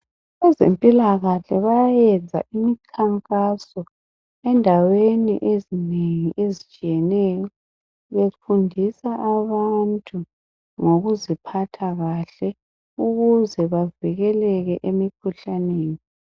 Abezempilakahle bayayenza imikhankaso endaweni ezinengi ezitshiyeneyo befundisa abantu ngokuziphatha kahle ukuze bavikeleke emikhuhlaneni